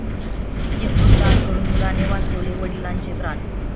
यकृत दान करून मुलाने वाचवले वडिलांचे प्राण!